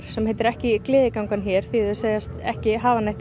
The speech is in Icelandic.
sem heitir ekki gleðiganga hér því þau segjast ekki hafa neitt